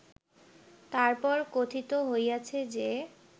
তার পর কথিত হইয়াছে যে